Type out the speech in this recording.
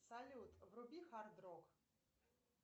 салют вруби хард рок